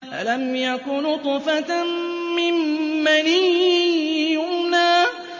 أَلَمْ يَكُ نُطْفَةً مِّن مَّنِيٍّ يُمْنَىٰ